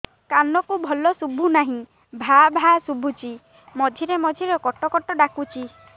କାନକୁ ଭଲ ଶୁଭୁ ନାହିଁ ଭାଆ ଭାଆ ଶୁଭୁଚି ମଝିରେ ମଝିରେ କଟ କଟ ଡାକୁଚି